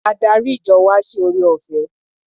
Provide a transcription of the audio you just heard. Adarí ìjọ wa ṣe ore-ọ̀fẹ́.